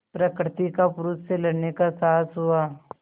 प्रकृति का पुरुष से लड़ने का साहस हुआ